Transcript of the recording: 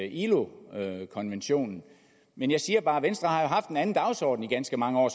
ilo konventionen men jeg siger bare at venstre jo har haft en anden dagsorden i ganske mange år